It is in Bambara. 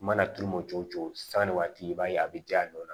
I mana turu mɔ cogo cogo sanni waati i b'a ye a bɛ ja nɔ